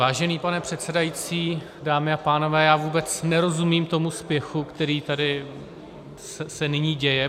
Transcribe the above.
Vážený pane předsedající, dámy a pánové, já vůbec nerozumím tomu spěchu, který se tady nyní děje.